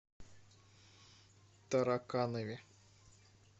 тараканове